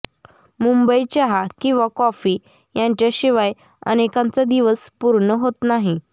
मुंबई चहा किंवा कॉफी यांच्याशिवाय अनेकांचा दिवस पूर्ण होत नाही